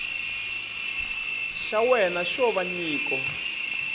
xa wena xo va nyiko